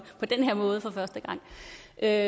at